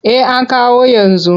Eh an kawo yanzu.